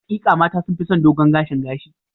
Hakika, mata sun fi son dogon gashin gashi.